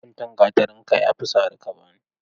Guntun gatarin ka yafi sari ka bani.